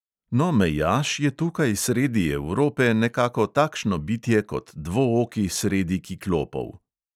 No, mejaš je tukaj sredi evrope nekako takšno bitje kot dvooki sredi kiklopov.